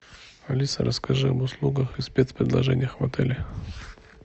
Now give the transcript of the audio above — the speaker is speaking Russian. алиса расскажи об услугах и спецпредложениях в отеле